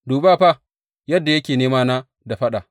Dubi fa yadda yake nemana da faɗa!